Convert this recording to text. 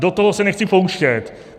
Do toho se nechci pouštět.